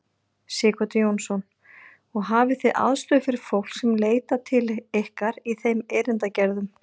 Sighvatur Jónsson: Og hafið þið aðstöðu fyrir fólk sem leitar til ykkar í þeim erindagerðum?